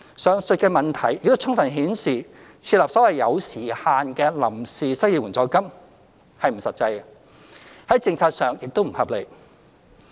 上述的問題亦充分顯示，設立所謂有時限的臨時失業援助金不切實際，在政策上完全不合理。